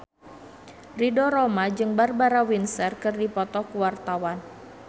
Ridho Roma jeung Barbara Windsor keur dipoto ku wartawan